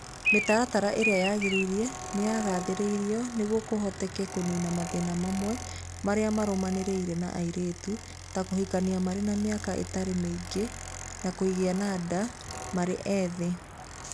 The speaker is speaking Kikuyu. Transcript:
Mĩtaratara ĩrĩa yagĩrĩire nĩ yagathĩrĩirio nĩguo kũhoteke kũniina mathĩna mamwe marĩa marũmanĩrĩire na airĩtu, ta kũhikania marĩ na mĩaka ĩtarĩ mĩingĩ na kũgĩa nda marĩ ethĩ.